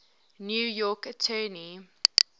new york attorney